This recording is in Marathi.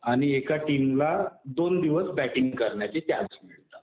आणि एका टीमला दोन दिवस बॅटिंग करण्याचे चान्स मिळतात